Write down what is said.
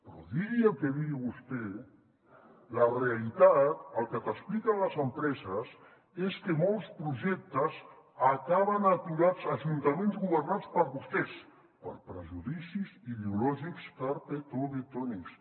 però digui el que digui vostè la realitat el que t’expliquen les empreses és que molts projectes acaben aturats a ajuntaments governats per vostès per prejudicis ideològics carpetovetònics